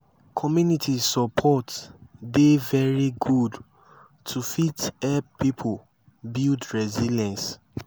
community support dey very good to fit help pipo build resilience